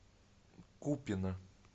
купино